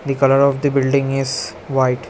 The colour of the building is white.